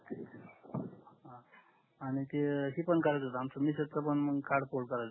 आणि ते तीच पण करायच होत आमच्या मिसेस च पण कार्ड पोर्ट करायच होत